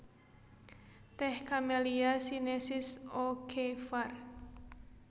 Tèh Camellia sinensis O K var